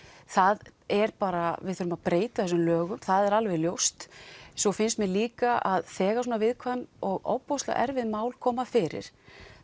það er bara við þurfum að breyta þessum lögum það er alveg ljóst svo finnst mér líka að þegar svona viðkvæm og ofboðslega erfið mál koma fyrir